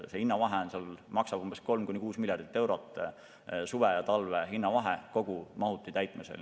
See vahe suve ja talve hinna vahel maksab kogu mahuti täitmisel 3–6 miljardit eurot.